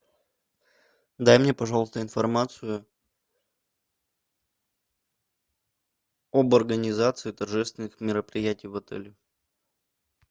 дай мне пожалуйста информацию об организации торжественных мероприятий в отеле